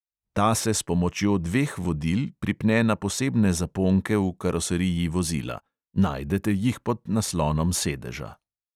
Ta se s pomočjo dveh vodil pripne na posebne zaponke v karoseriji vozila (najdete jih pod naslonom sedeža).